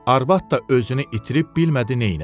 Arvad da özünü itirib bilmədi neyləsin.